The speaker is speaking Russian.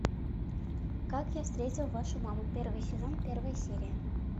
как я встретил вашу маму первый сезон первая серия